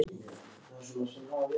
Jóhanna: Er það skemmtilegast?